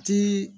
Ti